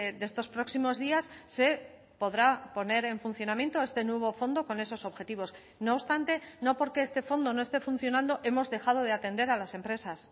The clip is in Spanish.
de estos próximos días se podrá poner en funcionamiento este nuevo fondo con esos objetivos no obstante no porque este fondo no esté funcionando hemos dejado de atender a las empresas